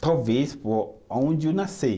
Talvez por aonde eu nasci.